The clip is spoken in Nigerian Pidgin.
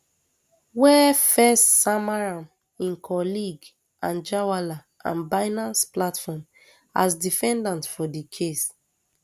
wey firs sama am im colleague anjarwalla and binance platform as defendants for di case